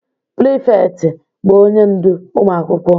Prịfektị bụ onye ndu ụmụ akwụkwọ